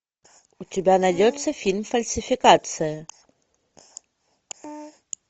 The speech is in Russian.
у тебя найдется фильм фальсификация